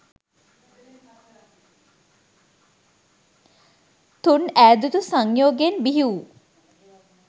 තුන් ඈදුතු සංයෝගයෙන් බිහිවූ